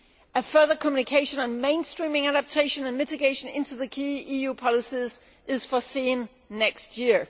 A further communication on mainstreaming adaptation and mitigation into the key EU policies is foreseen next year.